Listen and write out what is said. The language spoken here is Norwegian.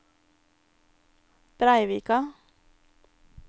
Breivika